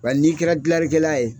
Bari n'i kɛra gilanlikɛla ye